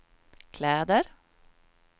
kläder